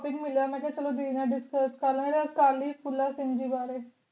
ਤੈਨੂੰ ਮੈਂ ਏਨਾ ਕਿਹਾ ਚਲੋ ਦੇਣਾ